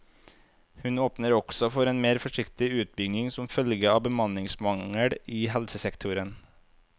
Hun åpner også for en mer forsiktig utbygging som følge av bemanningsmangel i helsesektoren.